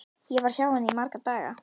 Ég var hjá henni í marga daga.